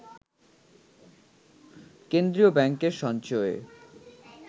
কেন্দ্রীয় ব্যাংকের সঞ্চয়ে